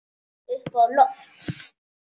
Upp á loft.